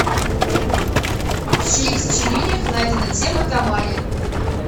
в чьих сочинениях найдена тема тамани